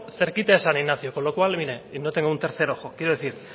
cerquita de san ignacio con lo cual mire y no tengo un tercer ojo quiero decir